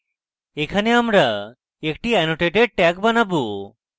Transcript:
এখানে আমরা একটি annotated tag বানাবো